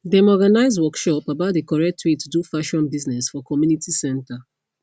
dem organise workshop about the correct way to do fashion business for community center